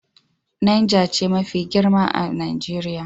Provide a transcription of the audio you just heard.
Nijar ce jiha mafi girma a Najeriya.